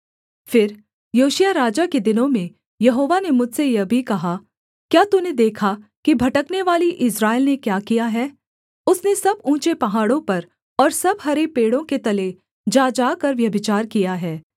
फिर योशिय्याह राजा के दिनों में यहोवा ने मुझसे यह भी कहा क्या तूने देखा कि भटकनेवाली इस्राएल ने क्या किया है उसने सब ऊँचे पहाड़ों पर और सब हरे पेड़ों के तले जा जाकर व्यभिचार किया है